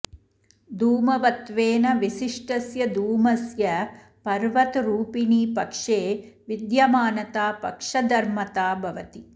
धूमवत्वेन विशिष्टस्य धूमस्य पर्वतरुपिणि पक्षे विद्यमानता पक्षधर्मता भवति